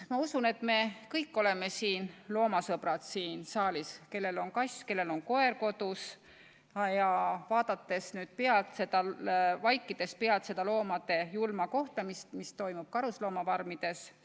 Ma usun, et me kõik oleme siin saalis loomasõbrad – kellel on kodus kass, kellel koer –, ja me ei taha vaadata vaikides pealt loomade julma kohtlemist, mis toimub karusloomafarmides.